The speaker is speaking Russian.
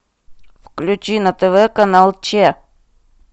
включи на тв канал че